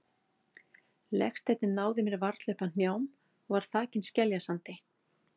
Legsteinninn náði mér varla upp að hnjám og var þakinn skeljasandi.